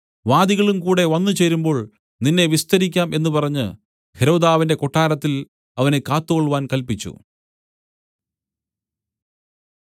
വാദികളും കൂടെ വന്നുചേരുമ്പോൾ നിന്നെ വിസ്തരിക്കാം എന്നു പറഞ്ഞ് ഹെരോദാവിന്റെ കൊട്ടാരത്തിൽ അവനെ കാത്തുകൊൾവാൻ കല്പിച്ചു